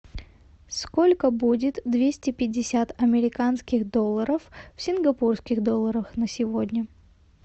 сколько будет двести пятьдесят американских долларов в сингапурских долларах на сегодня